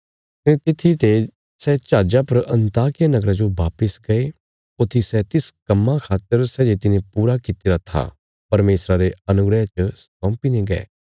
कने तित्थी ते सै जहाजा पर अन्ताकिया नगरा जो वापस गये ऊत्थी सै तिस कम्मां खातर सै जे तिने पूरा कित्तिरा था परमेशरा रे अनुग्रह च सौंपी ने गये